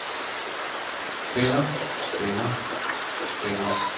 spænder spænder spænder